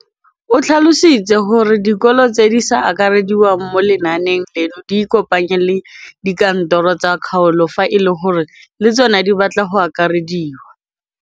O tlhalositse gore dikolo tse di sa akarediwang mo lenaaneng leno di ikopanye le dikantoro tsa kgaolo fa e le gore le tsona di batla go akarediwa.